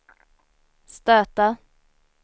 stöta